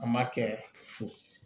An m'a kɛ fo